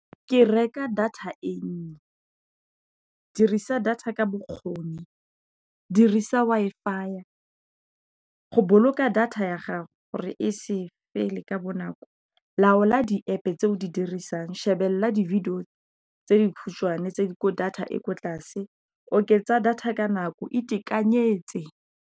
ke reka data e nnye. Dirisa data ka bokgoni, dirisa Wi-Fi. Go boloka data ya gago gore e sepele ka bonako, laola di-app tse o di dirisang, shebelela di video tse di khutshwane tse ko data e kwa tlase, oketsa data ka nako, itekanyetse.